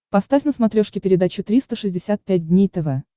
поставь на смотрешке передачу триста шестьдесят пять дней тв